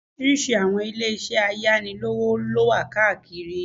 Oríṣiríṣi àwọn ilé isẹ́ ayánilówó lówà káàkiri